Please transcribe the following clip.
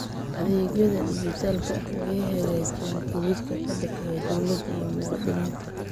Adeegyada dijitaalka ah waxay hagaajiyaan xidhiidhka ka dhexeeya dawladda iyo muwaadiniinta.